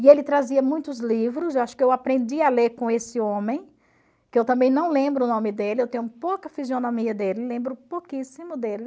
E ele trazia muitos livros, eu acho que eu aprendi a ler com esse homem, que eu também não lembro o nome dele, eu tenho pouca fisionomia dele, lembro pouquíssimo dele.